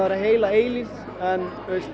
vera heila eilífð en